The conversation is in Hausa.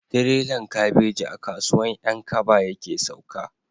Tirelan kabeji a kasuwan 'yan kaba yake sauka